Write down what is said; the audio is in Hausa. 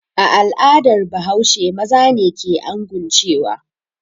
A al'adar Bahaushe maza ne ke anguncewa.